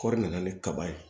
Kɔɔri nana ni kaba ye